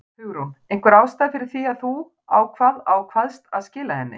Hugrún: Einhver ástæða fyrir því að þú ákvað, ákvaðst að skila henni?